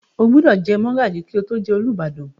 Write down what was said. O gbúdọ̀ jẹ mọ́gàjí kí o tó jẹ Olúbàdàn?